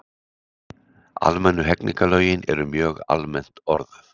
Almennu hegningarlögin eru mjög almennt orðuð.